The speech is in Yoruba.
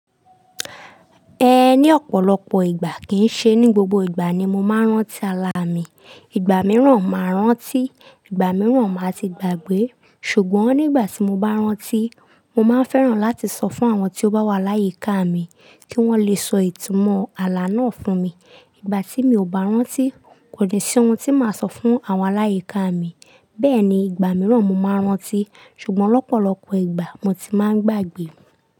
Ẹ ní ọ̀pọ̀lọpọ̀ ìgbà kìí ṣe ní gbogbo ìgbà ni mo máa ń rántí àlá mi. Ìgbà mìíràn máa rántí, ìgbà mìíràn máa ti gbàgbé. Ṣùgbọ́n nígbà tí mo bá rántí, mo máa ń fẹ́ràn láti sọ fún àwọn tí ó bá wà láyíká mi kí wọ́n lè sọ ìtumọ̀ àlá náà fún mi. Ìgbà tí mi ò bá rántí, kò ní sí ohun tí màá sọ fún àwọn aláyíkà mi. Bẹ́ẹ̀ ni, ìgbà mìíràn mo máa rántí, ṣùgbọ́n lọ́pọ̀lọpọ̀ ìgbà mo ti máa ń gbàgbé.